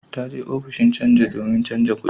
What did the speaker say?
Ta je ofishin canji domin canja kudi